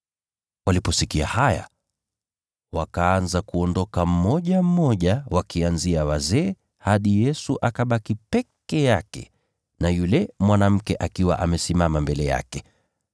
Waliposikia haya, wakaanza kuondoka mmoja mmoja, wakianzia wazee, hadi Yesu akabaki peke yake na yule mwanamke akiwa amesimama mbele yake.